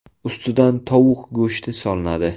Ustidan tovuq go‘shti solinadi.